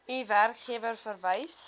u werkgewer vereis